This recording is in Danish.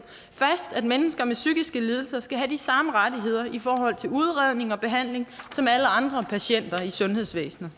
fast at mennesker med psykiske lidelser skal have de samme rettigheder i forhold til udredning og behandling som alle andre patienter i sundhedsvæsenet